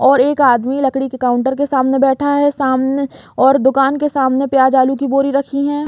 और एक आदमी लकड़ी के काउंटर के सामने बैठा है। सामने और दूकान के सामने प्याज आलू की बोरी रखी है।